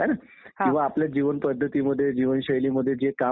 हां ह्या अश्या प्रकारच्या निवडणुकांमुळे.